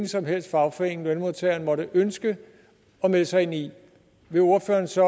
som helst fagforening lønmodtageren måtte ønske at melde sig ind i vil ordføreren så